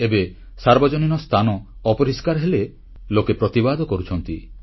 ଏବେ ସାର୍ବଜନୀନ ସ୍ଥାନ ଅପରିଷ୍କାର ହେଲେ ଲୋକ ପ୍ରତିବାଦ କରୁଛନ୍ତି